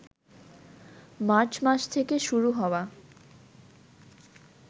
March মাস থেকে শুরু হওয়া